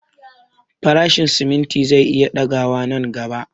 Farashin simimti zai iya ɗaga wa nan gaba